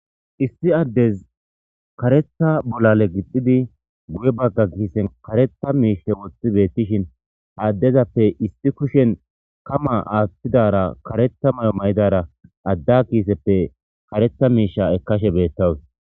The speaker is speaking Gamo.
issi addez karetha bolale gixidi guye bagga kiisen karetha miishe wothi beettishin haaddezappe isti kushen kama aaththidara karetha mayo may7idara adda kiiseppe karetha miisha ekkashe beettawus